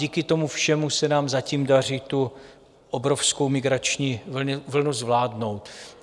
Díky tomu všemu se nám zatím daří tu obrovskou migrační vlnu zvládnout.